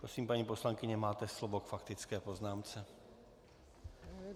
Prosím, paní poslankyně, máte slovo k faktické poznámce.